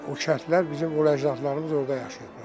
O kəndlər bizim ur əcdadlarımız orda yaşayıblar da.